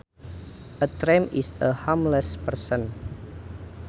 A tramp is a homeless person